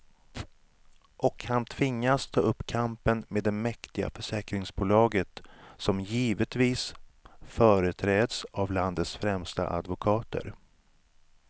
Och han tvingas ta upp kampen med det mäktiga försäkringsbolaget, som givetvis företräds av landets främsta advokater.